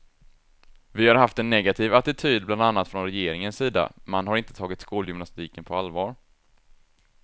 Vi har haft en negativ attityd bland annat från regeringens sida, man har inte tagit skolgymnastiken på allvar.